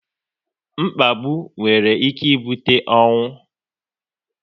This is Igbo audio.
Mkpagbu nwere ike ibute ọnwụ